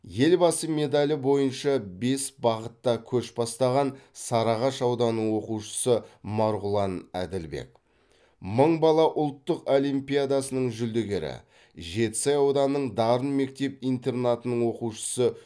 елбасы медалі бойынша бес бағытта көш бастаған сарыағаш ауданы оқушысы марғұлан әділбек мың бала ұлттық олимпиадасының жүлдегері жетісай ауданының дарын мектеп интернатының оқушысы